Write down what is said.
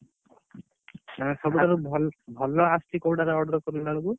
ସବୁ ଠାରୁ ଭଲ ଭଲ ଆସୁଛି କୋଉ ଟା ରେ order କଲା ବେଳ କୁ?